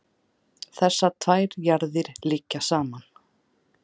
þessar tvær jarðir liggja saman